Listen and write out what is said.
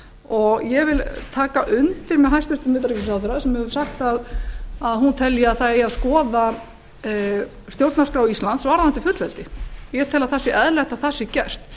og ég vil taka undir með hæstvirtum utanríkisráðherra sem hefur sagt að hún telji að það eigi að skoða stjórnarskrá íslands varðandi fullveldi ég tel að það sé eðlilegt að það sé gert